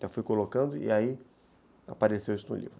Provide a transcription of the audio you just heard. Já fui colocando e aí apareceu isso no livro.